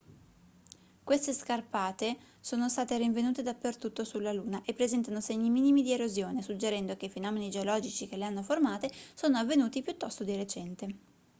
queste scarpate sono state rinvenute dappertutto sulla luna e presentano segni minimi di erosione suggerendo che i fenomeni geologici che le hanno formate sono avvenuti piuttosto di recente